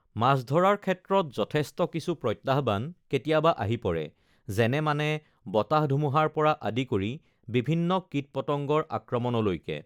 মাছ ধৰাৰ ক্ষেত্ৰত যথেষ্ট কিছু প্ৰত্যাহ্বান কেতিয়াবা আহি পৰে যেনে মানে বতাহ-ধুমুহাৰ পৰা আদি কৰি বিভিন্ন কীট-পতংগৰ আক্ৰমণলৈকে